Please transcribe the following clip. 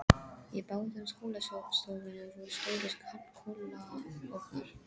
Í báðum skólastofunum voru stórir kolaofnar.